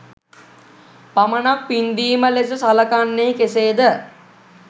පමණක් පින්දීම ලෙස සලකන්නේ කෙසේද?